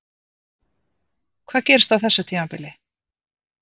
Hvað gerist á þessu tímabili?